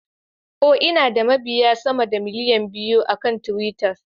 Oh, Ina da mabiya sama da miliyan biyu akan twitter.